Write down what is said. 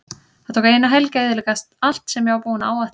Það tók eina helgi að eyðileggja allt sem ég var búinn að áætla.